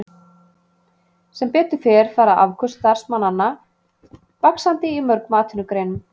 Sem betur fer fara afköst starfsmanna vaxandi í mörgum atvinnugreinum.